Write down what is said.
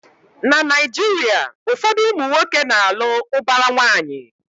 Na Naijiria, ụfọdụ ụmụnwoke na alụ ubara nwanyi